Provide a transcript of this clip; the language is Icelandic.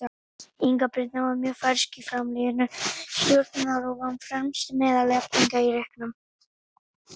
Inga Birna var mjög fersk í framlínu Stjörnunnar og var fremst meðal jafningja í leiknum.